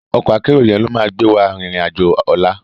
Òkò àkèéró yèn ló má gbéwá ririn àjó òlá